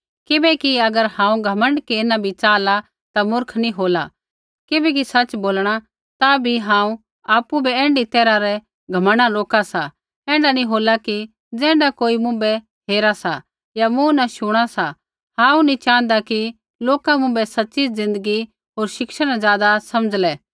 किबैकि अगर हांऊँ घमण्ड केरना भी चाहला ता मुर्ख नी होला किबैकि सच़ बोलणा ता भी हांऊँ आपु बै ऐण्ढी तैरहा रै घमण्डा न रोका सा ऐण्ढा नी होला कि ज़ैण्ढा कोई मुँभै हेरा सा या मूँ न शुणा सा हांऊँ नी च़ाँहदा कि लोका मुँभै सच़ी ज़िन्दगी होर शिक्षा न ज़ादा समझ़ला